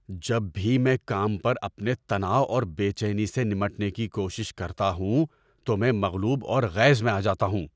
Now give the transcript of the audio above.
جب بھی میں کام پر اپنے تناؤ اور بے چینی سے نمٹنے کی کوشش کرتا ہوں تو میں مغلوب اور غیظ میں آ جاتا ہوں۔